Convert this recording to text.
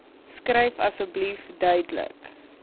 skryf asseblief duidelik